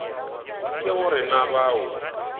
ke go re na bao